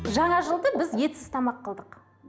жаңа жылды біз етсіз тамақ қылдық